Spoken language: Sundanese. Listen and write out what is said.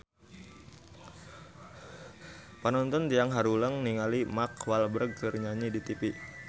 Panonton ting haruleng ningali Mark Walberg keur nyanyi di tipi